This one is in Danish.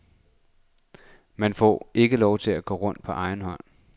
Man får ikke lov at gå rundt på egen hånd.